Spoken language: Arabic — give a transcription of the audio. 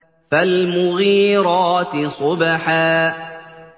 فَالْمُغِيرَاتِ صُبْحًا